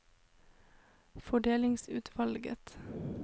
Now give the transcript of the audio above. fordelingsutvalget